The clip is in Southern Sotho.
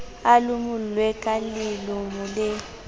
a lomolwe ka lelomolo la